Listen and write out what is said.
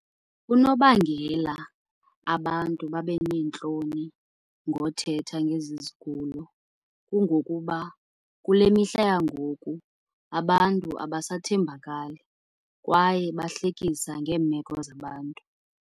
Unobangela abantu babe neentloni ngothetha ngezi zigulo kungokuba kule mihla yangoku abantu abasathembakali kwaye bahlekisa ngeemeko zabantu.